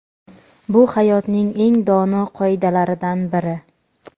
Bu hayotning eng dono qoidalaridan biri.